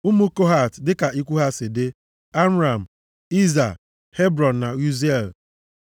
Ụmụ Kohat dịka ikwu ha si dị: Amram, Izha, Hebrọn na Uziel.